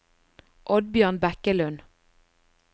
Oddbjørn Bekkelund